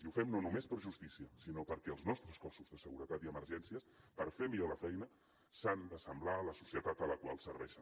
i ho fem no només per justícia sinó perquè els nostres cossos de seguretat i emergències per fer millor la feina s’han d’assemblar a la societat a la qual serveixen